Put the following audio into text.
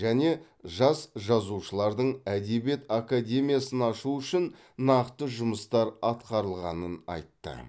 және жас жазушылардың әдебиет академиясын ашу үшін нақты жұмыстар атқарылғанын айтты